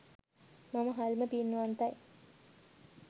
මම හරිම පින්වන්තයි